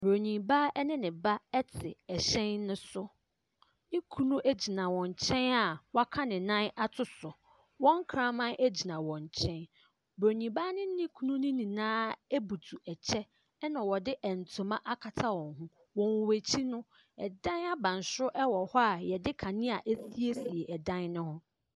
Bronii ba ɛne ne ba ɛte ɛhyɛn ne so. Ne kunu ɛgyina wɔn nkyɛn a w'aka ne nan ato so. Wɔn kraman ɛgyina wɔn nkyɛn. Bronii baa ne ne kunu no nyinaa ɛbutu ɛkyɛ ɛna wɔde ntoma akata wɔn ho. Wɔn ɛkyi no ɛdan abansoro ɛwɔ hɔ a yɛde kanea asiesie ɛdan no ho.